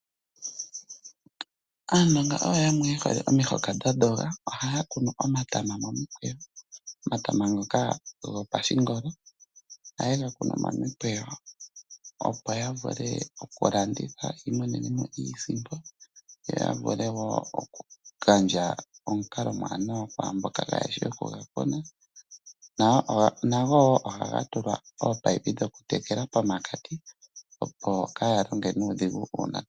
Aanongo oyo yamwe yehole omihoka dhadhoga. Ohaya kunu omatama gopashingolo momikweyo . Ngele gatiligana ohayega likolamo etayega fala pomahala gomalandithilo yamonemo iisimpo. Shino oshili hashi gandja oshilongwa kwaamboka yahala okuga kuna, yakutheko oongaku yega kune. Omatama ngele geli miikununo ohaga tulwa ominino pokati kiimpungu shono shili osho shimwe shomomikalo dhokutekela iimeno.